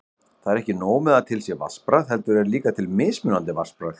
Það er ekki nóg með að til sé vatnsbragð, heldur er líka til mismunandi vatnsbragð!